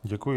Děkuji.